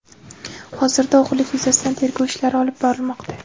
Hozirda o‘g‘irlik yuzasidan tergov ishlari olib borilmoqda.